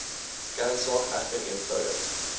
kernsaak egter eenvoudig